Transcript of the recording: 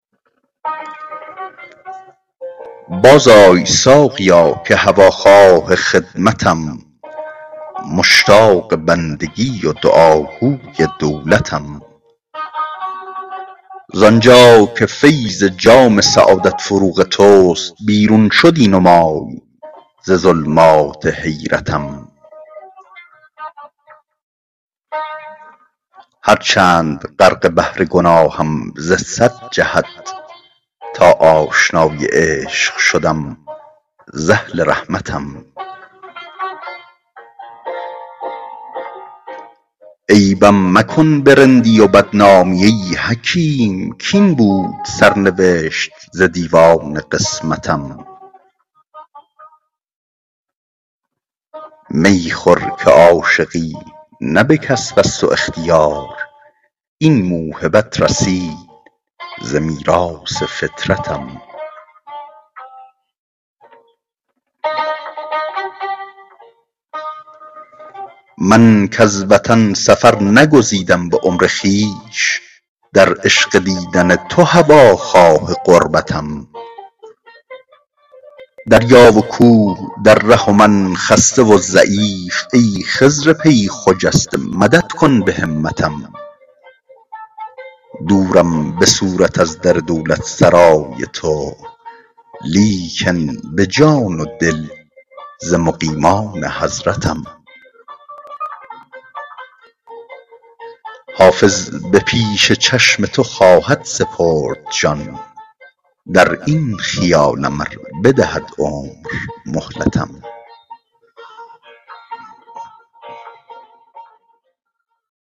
بازآی ساقیا که هواخواه خدمتم مشتاق بندگی و دعاگوی دولتم زان جا که فیض جام سعادت فروغ توست بیرون شدی نمای ز ظلمات حیرتم هرچند غرق بحر گناهم ز صد جهت تا آشنای عشق شدم ز اهل رحمتم عیبم مکن به رندی و بدنامی ای حکیم کاین بود سرنوشت ز دیوان قسمتم می خور که عاشقی نه به کسب است و اختیار این موهبت رسید ز میراث فطرتم من کز وطن سفر نگزیدم به عمر خویش در عشق دیدن تو هواخواه غربتم دریا و کوه در ره و من خسته و ضعیف ای خضر پی خجسته مدد کن به همتم دورم به صورت از در دولتسرای تو لیکن به جان و دل ز مقیمان حضرتم حافظ به پیش چشم تو خواهد سپرد جان در این خیالم ار بدهد عمر مهلتم